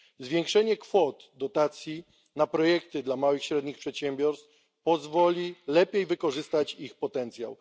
Zwiększenie kwot dotacji na projekty dla małych i średnich przedsiębiorstw pozwoli lepiej wykorzystać ich potencjał.